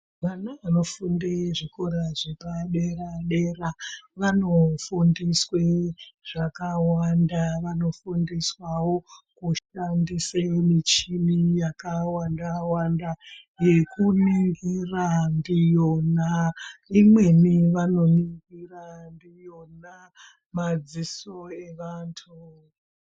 Vana vanofunde zvikora zvepadera-dera vanofundiswe zvakawanda. Vanofundiswawo kushandise michini yakawanda-wanda, yekuningira ndiyona. Imweni vanoningira ndiyona madziso evantu.